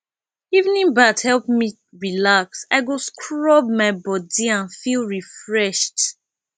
evening bath help me relax i go scrub my body and feel refreshed